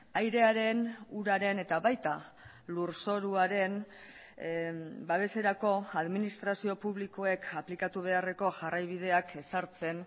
airearen uraren eta baita lurzoruaren babeserako administrazio publikoek aplikatu beharreko jarraibideak ezartzen